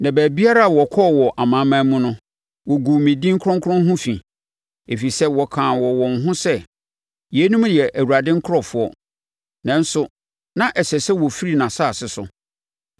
Na baabiara a wɔkɔɔ wɔ amanaman mu no, wɔguu me din kronkron ho fi, ɛfiri sɛ wɔkaa wɔ wɔn ho sɛ, ‘Yeinom yɛ Awurade nkurɔfoɔ, nanso na ɛsɛ sɛ wɔfiri nʼasase so.’